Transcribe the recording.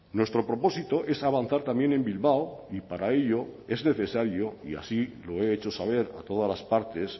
nuestro propósito es avanzar también en bilbao y para ello es necesario y así lo he hecho saber a todas las partes